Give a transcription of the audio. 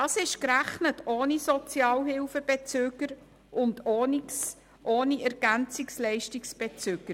– Das ist ohne Sozialhilfe- und EL-Bezüger gerechnet.